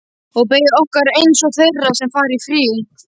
Og beið okkar einsog þeirra sem fara í frí.